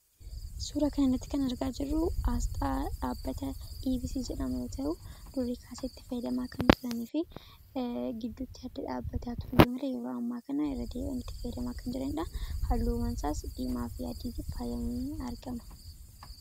Suuraa kana irratti kan argaa jirru, asxaa dhaabbata EVC jedhamu yoo ta'u, durii kaasee itti fayyadamaa kan turanii fi giddutti adda dhaabbatee tureyuu malee, yeroo ammaa kana irra deebi'anii itti fayyadamaa kan jiranidha. Halluun mana saas diimaa fi adiitti faayyame argama.